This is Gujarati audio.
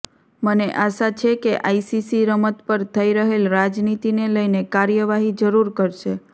મને આશા છે કે આઇસીસી રમત પર થઇ રહેલ રાજનીતિને લઇને કાર્યવાહી જરૂર કરશે